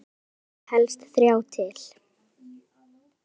Stundum þurfi helst þrjá til.